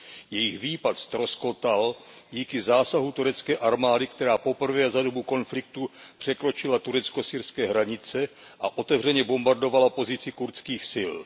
Jejich výpad ztroskotal díky zásahu turecké armády, která poprvé za dobu konfliktu překročila turecko syrské hranice a otevřeně bombardovala pozici kurdských sil.